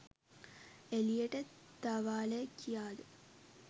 එළියට දවාලය කියාද